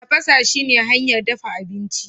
tafasa shine hanyar dafa abinci